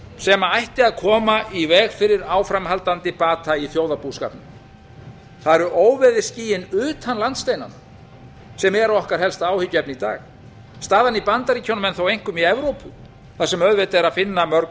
sem ætti að koma í veg fyrir áframhaldandi bata í þjóðarbúskapnum það eru óveðursskýin utan landsteinanna sem eru okkar helsta áhyggjuefni í dag staðan í bandaríkjunum en þó einkum í evrópu þar sem auðvitað er að finna mörg